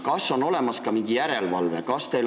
Kas on olemas ka mingi järelevalve?